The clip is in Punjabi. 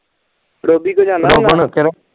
ਰੋਬੀ ਕੋ ਜਾਣਾ ਹੁੰਦਾ ਵਾ